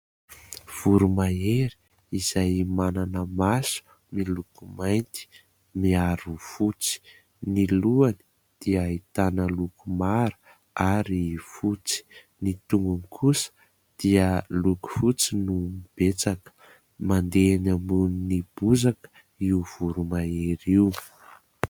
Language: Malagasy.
Voromahery izay manana maso miloko mainty miaro fotsy, ny lohany dia ahitana loko mara ary fotsy, ny tongony kosa dia loko fotsy no betsaka. Mandeha eny ambonin'ny bozaka io voromahery io.